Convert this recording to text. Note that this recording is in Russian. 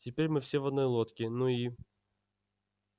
теперь мы все в одной лодке ну и